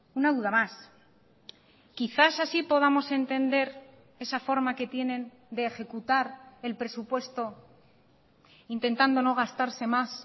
una duda más quizás así podamos entender esa forma que tienen de ejecutar el presupuesto intentando no gastarse más